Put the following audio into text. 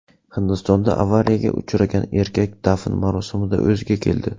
Hindistonda avariyaga uchragan erkak dafn marosimida o‘ziga keldi.